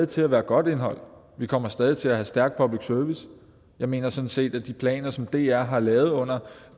til at være godt indhold vi kommer stadig til at have stærk public service jeg mener sådan set at de planer som dr har lavet under